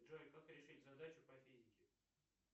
джой как решить задачу по физике